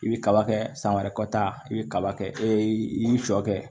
I bi kaba kɛ san wɛrɛ kɔta i bɛ kaba kɛ e i y'i sɔ kɛ